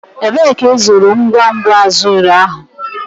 Ebee ka ịzụrụ ngwa ngwa azure ahụ?